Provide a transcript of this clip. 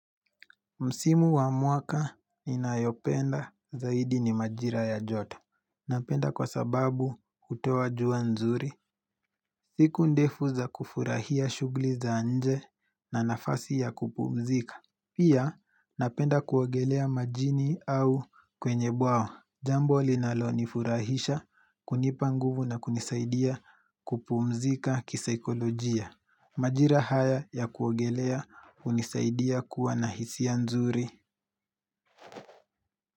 Msimu wa mwaka inayopenda zaidi ni majira ya jota. Napenda kwa sababu hutoa jua nzuri. Siku ndefu za kufurahia shughuli za nje na nafasi ya kupumzika. Pia napenda kuogelea majini au kwenye bwawa. Jambo linalonifurahisha, kunipa nguvu na kunisaidia kupumzika kisaikolojia. Majira haya ya kuogelea hunisaidia kuwa na hisia nzuri.